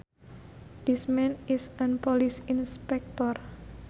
This man is an police inspector